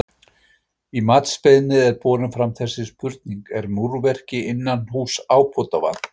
Í matsbeiðni er borin fram þessi spurning: Er múrverki innanhúss ábótavant?